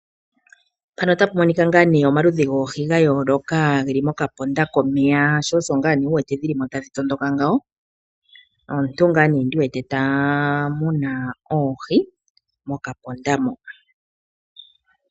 Omaludhi goohi ga yooloka ge li mokaponda komeya, sho osho wu wete dhi li mo tadhi tondoka, shika otashi ulike kutya omuntu ta muna oohi mokaponda.